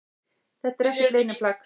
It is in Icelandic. Þetta er ekkert leyniplagg